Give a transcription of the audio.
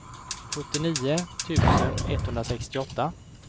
sjuttionio tusen etthundrasextioåtta